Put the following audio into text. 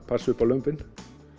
passa upp á lömbin